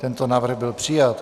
Tento návrh byl přijat.